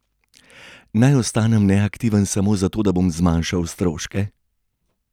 Naj postanem neaktiven samo zato, da bom zmanjšal stroške?